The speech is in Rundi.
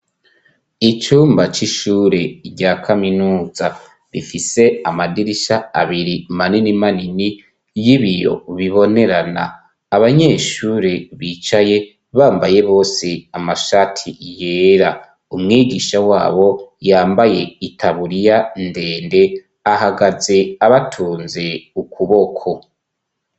Icumba c'ishure rya kaminuza ,rifise amadirisha abiri manini manini ,y'ibiyo bibonerana abanyeshure bicaye bambaye bose amashati yera ,umwigisha wabo yambaye itaburiya ndende, ahagaze abatunze ukuboko.